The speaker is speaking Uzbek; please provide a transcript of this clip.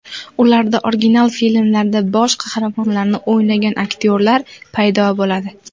Ularda original filmlarda bosh qahramonlarni o‘ynagan aktyorlar paydo bo‘ladi.